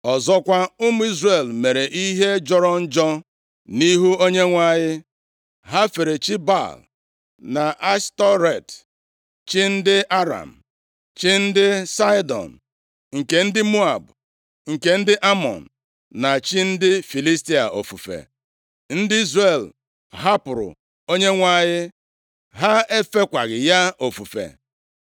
Ọzọkwa, ụmụ Izrel mere ihe jọrọ njọ nʼihu Onyenwe anyị, ha fere chi Baal na Ashtọret, chi ndị Aram, chi ndị Saịdọn, nke ndị Moab, nke ndị Amọn, na chi ndị Filistia ofufe. Ndị Izrel hapụrụ Onyenwe anyị, ha efekwaghị ya ofufe.